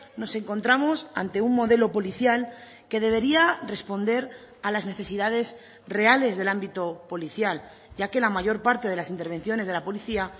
nos encontramos ante un modelo policial que debería responder a las necesidades reales del ámbito policial ya que la mayor parte de las intervenciones de la policía